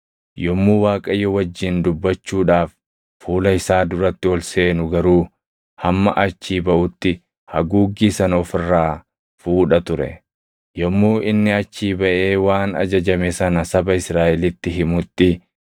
Yommuu Waaqayyo wajjin dubbachuudhaaf fuula isaa duratti ol seenu garuu hamma achii baʼutti haguuggii sana of irraa fuudha ture. Yommuu inni achii baʼee waan ajajame sana saba Israaʼelitti himutti,